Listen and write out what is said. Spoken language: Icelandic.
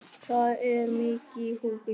Það er mikið í húfi.